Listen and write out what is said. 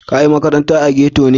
Ka yi maƙaranta a ghetto ne?